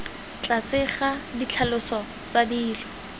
tlase ga ditlhaloso tsa dilo